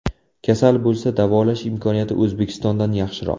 Kasal bo‘lsa, davolash imkoniyati O‘zbekistondan yaxshiroq.